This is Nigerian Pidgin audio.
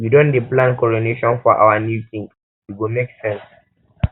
we don dey plan coronation for our new king e go make sense